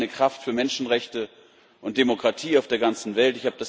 Wir sind eine Kraft für Menschenrechte und Demokratie auf der ganzen Welt.